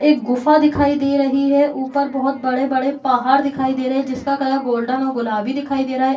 एक गुफा दिखाई दे रही है ऊपर बहुत बड़े-बड़े पहाड़ दिखाई दे रहे है जिसका कलर गोल्डन और गुलाबी दिखाई दे रहा है।